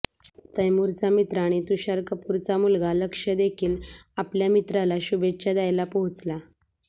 तैमूरचा मित्र आणि तुषार कपूरचा मुलगा लक्ष्य देखील आपल्या मित्राला शुभेच्छा द्यायला पोहोचला